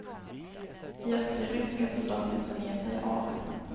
Jag ser ryska soldater som ger sig av.